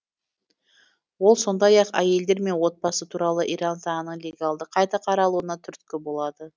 ол сондай ақ әйелдер мен отбасы туралы иран заңының легалды қайта қаралуына түрткі болады